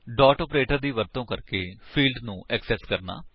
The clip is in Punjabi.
ਡਾਟ ਆਪਰੇਟਰ ਦਾ ਵਰਤੋ ਕਰਕੇ ਫਿਲਡਸ ਨੂੰ ਐਕਸੇਸ ਕਰਨਾ